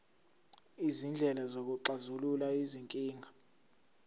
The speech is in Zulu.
izindlela zokuxazulula izinkinga